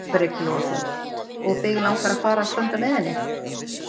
Breki Logason: Og þig langar að fara og standa með henni?